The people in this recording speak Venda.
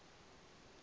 re na ayodini a u